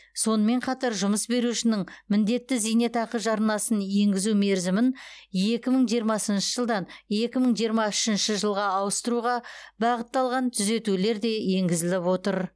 сонымен қатар жұмыс берушінің міндетті зейнетақы жарнасын енгізу мерзімін екі мың жиырмасыншы жылдан екі мың жиырма үшінші жылға ауыстыруға бағытталған түзетулер де енгізіліп отыр